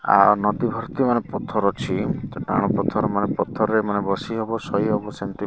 ଆଉ ନଦୀ ଭର୍ତ୍ତି ମାନେ ପଥର ଅଛି। ଏମିତି ଟାଣ ପଥର ମାନେ ପଥରରେ ମାନେ ବସି ହେବ ଶୋଇ ହେବ ସେମିତି --